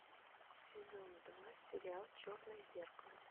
сезон два сериал черное зеркало